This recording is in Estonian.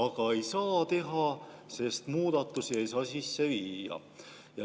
Kuid ei saa teha, sest muudatusi ei saa sisse viia.